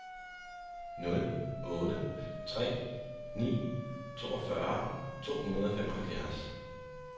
nul otte tre ni toogfyrre to hundrede og femoghalvfjerds